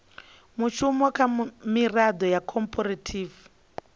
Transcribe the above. mushumo kha miraḓo ya khophorethivi